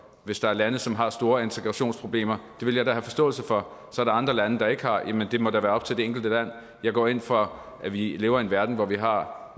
hvis der er lande som har store integrationsproblemer ville jeg da have forståelse for så andre lande der ikke har det jamen det må da være op til det enkelte land jeg går ind for at vi lever i en verden hvor vi har